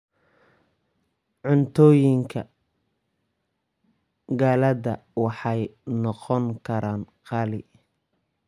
Cuntooyinka qalaad waxay noqon karaan qaali.